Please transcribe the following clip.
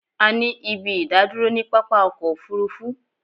A ní ibi ìdádúró ni pápá ọkọ̀ òfurufú